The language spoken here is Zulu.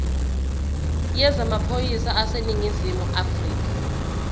yezamaphoyisa aseningizimu afrika